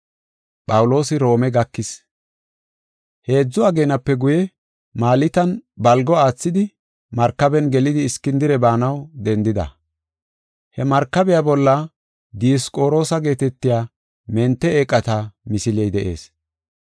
Heedzu ageenape guye, Maltan balgo aathidi Markaben gelidi Iskindire baanaw dendida. He markabiya bolla Diyosqoroosa geetetiya mente eeqata misiley de7ees.